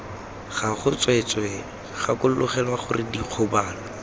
gago tsweetswee gakologelwa gore dikgobalo